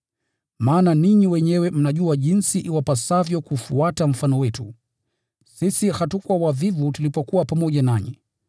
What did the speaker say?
Maana ninyi wenyewe mnajua jinsi iwapasavyo kufuata mfano wetu. Sisi hatukuwa wavivu tulipokuwa pamoja nanyi,